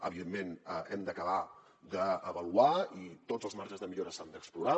evidentment ho hem d’acabar d’avaluar i tots els marges de millora s’han d’explorar